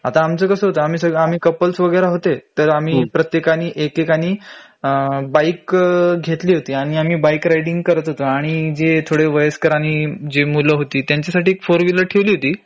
आता आमचं कसं होत आम्ही सग आम्ही कपल्स वगैर होते तर आम्ही प्रत्येकानी एकेकानी अ बाइक घेतली होती आणि आम्ही बाइक रायडींग करत होतो आणि जे थोडे वयस्कर आणि जी मूल होती त्यांच्यासाठी एक ४ व्हिलर ठेवली होती